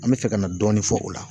An bɛ fɛ ka na dɔɔnin fɔ o la